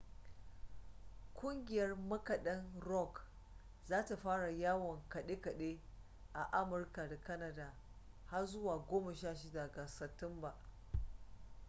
ƙungiyar makaɗan rock za ta fara yawon kaɗe-kaɗe a amurka da canada har zuwa 16 ga satumba